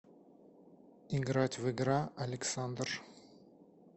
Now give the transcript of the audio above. играть в игра александр